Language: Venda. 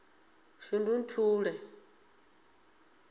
shundunthule